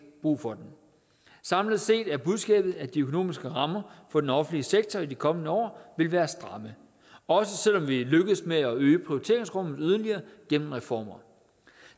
brug for den samlet set er budskabet at de økonomiske rammer for den offentlige sektor i de kommende år vil være stramme også selv om vi lykkes med at øge prioriteringsrummet yderligere gennem reformer